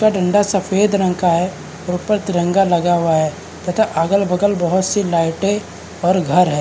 उसका डंडा सफेद रंग का है ऊपर तिरंगा लगा हुआ है तथा अगल बगल बहोत सी लाइटे और घर हैं।